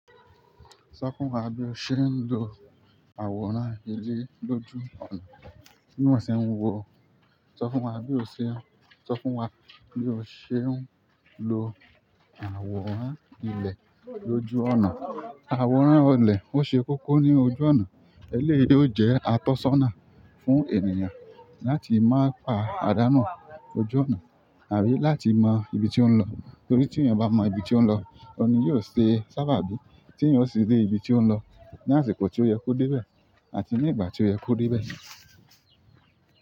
Sọ fún wa bí o ṣe ń lo àwòrán ilẹ̀ lójú ọ̀nà. Bíwọ ṣe ń wò ó, sọ fún wa bí o ṣe ń, sọ fún wa bí o ṣe ń lo àwòrán ilẹ̀ lójú ọ̀nà. Àwòrán o ilẹ̀ ó ṣe kókó ní ojú ọ̀nà. Eléyìí ni ó jẹ́ àtọ́sàná fún ènìyàn láti má pa àdánù ojú ọ̀nà àbí láti mọn ibi tí ó ń lọ. Nítorí tí èèyàn bá mọ ibi tí ó ń lọ, òun ni yóò ṣe sábàbí tí èèyàn ó sì dé ibi tí ó ń lọ ní àsìkò tí ó yẹ kó dé bẹ̀ àti ní ìgbà tí ó yẹ kó dé bẹ̀.